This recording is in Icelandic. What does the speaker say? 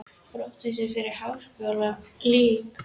Brottvísun fyrir háskalegan leik?